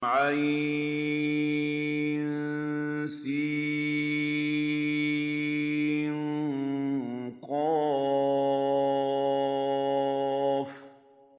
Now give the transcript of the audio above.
عسق